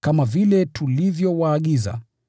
kama vile tulivyowaagiza,